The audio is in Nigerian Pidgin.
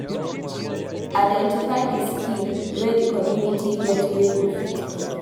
Identify di skill wey di community get wey you fit give